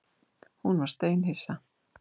Hún var steinhissa.